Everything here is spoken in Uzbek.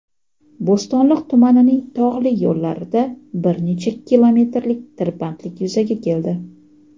Bo‘stonliq tumanining tog‘li yo‘llarida bir necha kilometrlik tirbandlik yuzaga keldi.